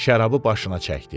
şərabı başına çəkdi.